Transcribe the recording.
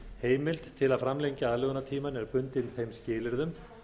heimild til að framlengja aðlögunartímann er bundin þeim skilyrðum